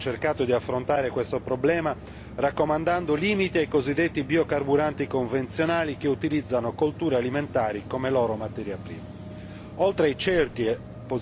Proprio per questa ragione, la Commissione ha cercato di affrontare questo problema raccomandando limiti ai cosiddetti biocarburanti convenzionali che utilizzano colture alimentari come loro materia prima.